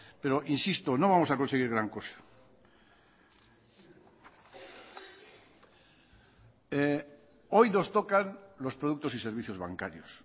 pero insisto no vamos a conseguir gran cosa hoy nos tocan los productos y servicios bancarios